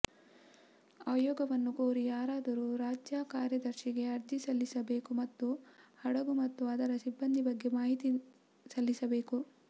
ಆಯೋಗವನ್ನು ಕೋರಿ ಯಾರಾದರೂ ರಾಜ್ಯ ಕಾರ್ಯದರ್ಶಿಗೆ ಅರ್ಜಿ ಸಲ್ಲಿಸಬೇಕು ಮತ್ತು ಹಡಗು ಮತ್ತು ಅದರ ಸಿಬ್ಬಂದಿ ಬಗ್ಗೆ ಮಾಹಿತಿ ಸಲ್ಲಿಸಬೇಕು